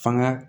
Fanga